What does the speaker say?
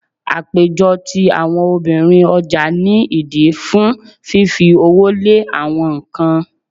Àpéjọ ti àwọn obìnrin ọjà ní ìdí fún fífi owó lé awọn nǹkan.